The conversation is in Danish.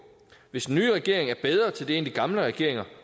hvis den nye regering er bedre til det end de gamle regeringer